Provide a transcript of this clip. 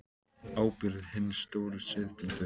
Á ábyrgð hinna stóru siðblindu.